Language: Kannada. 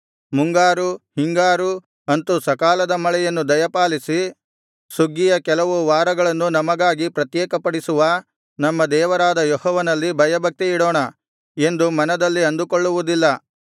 ಮುಂಗಾರು ಹಿಂಗಾರು ಅಂತು ಸಕಾಲದ ಮಳೆಯನ್ನು ದಯಪಾಲಿಸಿ ಸುಗ್ಗಿಯ ಕೆಲವು ವಾರಗಳನ್ನು ನಮಗಾಗಿ ಪ್ರತ್ಯೇಕಪಡಿಸುವ ನಮ್ಮ ದೇವರಾದ ಯೆಹೋವನಲ್ಲಿ ಭಯಭಕ್ತಿಯಿಡೋಣ ಎಂದು ಮನದಲ್ಲಿ ಅಂದುಕೊಳ್ಳವುದಿಲ್ಲ